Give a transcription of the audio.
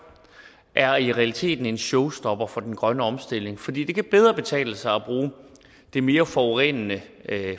er i realiteten en showstopper for den grønne omstilling fordi det bedre kan betale sig at bruge de mere forurenende